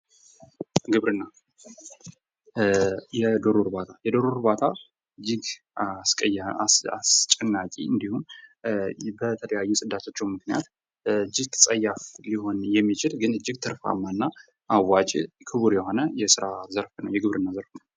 ግብርና የዶሮ እርባታ የዶሮ እርባታ እጅግ አስጨናቂ እንዲሁም በተለያዩ ጽዳጆቹ ምክንያት እጅግ ጸያፍ ሊሆን የሚችል ግን እጅግ ትርፋማ እና አዋጪ ክቡር የሆነ የስራ የግብርና ዘርፍ ነው።